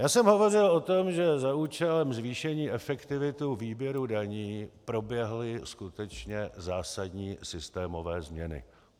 Já jsem hovořil o tom, že za účelem zvýšení efektivity výběru daní proběhly skutečně zásadní systémové změny.